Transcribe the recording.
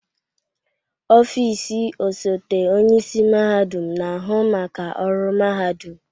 Ọfịs ọsote onye isi mahadum na-ahụ maka ọrụ mahadum.